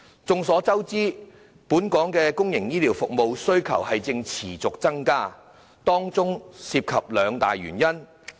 眾所周知，本港公營醫療服務的需求正持續增加，當中涉及兩大原因。